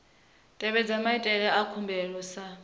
tevhedzwa maitele a khumbelo sa